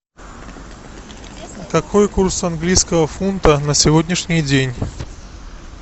какой курс английского фунта на сегодняшний день